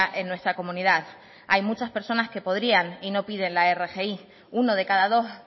en nuestra comunidad hay muchas personas que podrían y no piden la rgi uno de cada dos